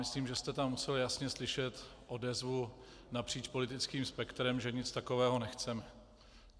Myslím, že jste tam musel jasně slyšet odezvu napříč politickým spektrem, že nic takového nechceme.